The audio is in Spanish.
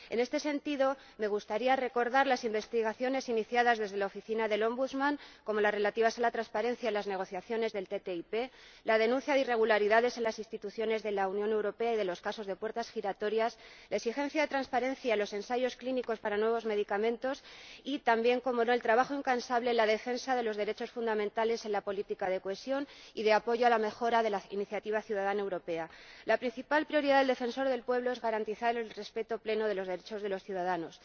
En este sentido, me gustaría recordar las investigaciones iniciadas desde la Oficina del Defensor del Pueblo, como las relativas a la transparencia en las negociaciones del TTIP, la denuncia de irregularidades en las instituciones de la Unión Europea y de los casos de puertas giratorias, la exigencia de transparencia en los ensayos clínicos de nuevos medicamentos y también —cómo no— el trabajo incansable en la defensa de los derechos fundamentales en la política de cohesión y de apoyo a la mejora de la Iniciativa Ciudadana Europea. La principal prioridad del Defensor del Pueblo es garantizar plenamente el respeto de los derechos de los ciudadanos.